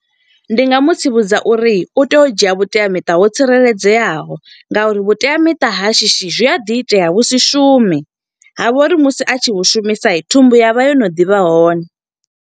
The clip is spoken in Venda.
Ndi nga mu tsivhudza uri, u tea u dzhia vhuteamiṱa ho tsireledzeaho. Nga uri vhuteamiṱa ha shishi, zwi a ḓi itea vhu si shume, ha vha uri musi a tshi vhushumisa. Thumbu ya vha yo no ḓivha hone.